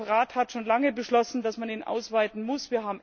Der Rat hat schon lange beschlossen, dass man ihn ausweiten muss.